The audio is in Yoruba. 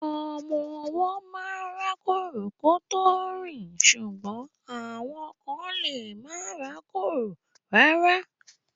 Ọmọ ọwọ́ máa ń rákórò kán tó rìn ṣùgbọ́n àwọn kán lemá rákórò rárá.